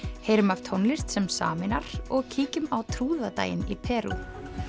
heyrum af tónlist sem sameinar og kíkjum á trúðadaginn í Perú